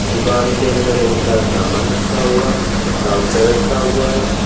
दुकान के अंदर बहुत सारा सामान रखा हुआ है काउंटर रखा हुआ है।